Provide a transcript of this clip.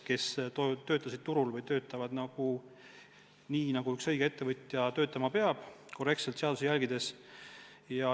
Nad on turul töötanud nii, nagu üks õige ettevõtja töötama peab, korrektselt seadusi järgides.